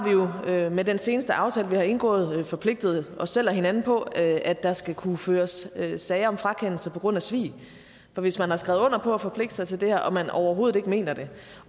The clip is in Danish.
vi jo med den seneste aftale vi har indgået forpligtet os selv og hinanden på at der skal kunne føres sager om frakendelse på grund af svig hvis man har skrevet under på at forpligte sig til det her men overhovedet ikke mener det